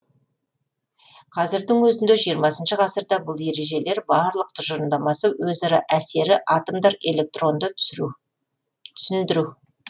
қазірдің өзінде жиырмасыншы ғасырда бұл ережелер барлық тұжырымдамасы өзара әсері атомдар электронды түсіндіру